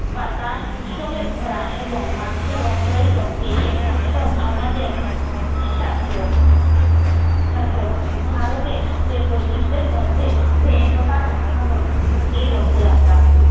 বাতাস উৎসবে ভরা এবং মানুষের অন্তরে শক্তি এই উৎসব আমাদের ভারতে বৈচিত্রের মধ্যে যে একতার উদাহরণ এই রথযাত্রা